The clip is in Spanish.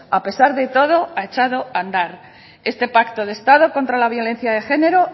a pesar de todo ha echado a andar este pacto de estado contra la violencia de género